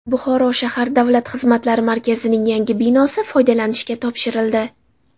Buxoro shahar Davlat xizmatlari markazining yangi binosi foydalanishga topshirildi.